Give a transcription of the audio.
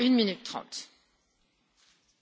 Frau Präsidentin, Frau Kommissarin!